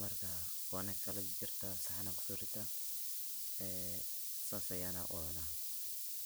marka wana kalajajarta sacan an kuso ritaa ee San ayana ucuna.